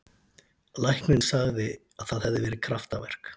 Læknirinn sagði að það hefði verið kraftaverk.